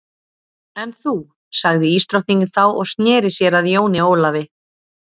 En þú sagði ísdrottningin þá og sneri sér að Jóni Ólafi.